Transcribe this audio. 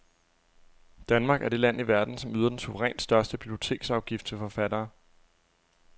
Danmark er det land i verden, som yder den suverænt største biblioteksafgift til forfattere.